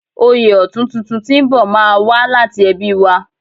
Oyè ọ̀tún tuntun tí ń bò má a wá láti ẹbí wa